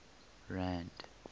rand